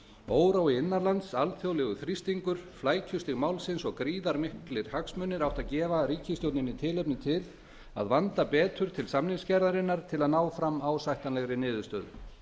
órói innan lands alþjóðlegur þrýstingur flækjustig málsins og gríðarmiklir hagsmunir áttu að gefa ríkisstjórninni tilefni til að vanda betur til samningagerðarinnar til að ná fram ásættanlegri niðurstöðu